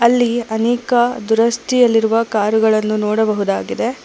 ಅಲ್ಲಿ ಅನೇಕ ದುರಸ್ತಿಯಲ್ಲಿರುವ ಕಾರುಗಳನ್ನು ನೋಡಬಹುದಾಗಿದೆ.